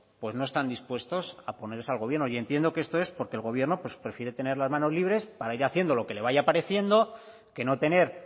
pues no están dispuestos a oponerse al gobierno y entiendo que esto es porque el gobierno pues prefiere tener las manos libres para ir haciendo lo que les vaya pareciendo que no tener